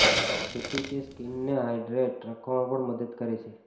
જેથી તે સ્કિનને હાઈડ્રેટ રાખવામાં પણ મદદ કરે છે